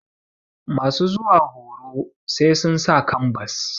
masu zuwa horo sai sun sa kambas